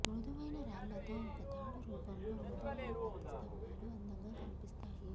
మృదువైన రాళ్ళతో ఒక తాడు రూపంలో మృదువైన పత్తి స్తంభాలు అందంగా కనిపిస్తాయి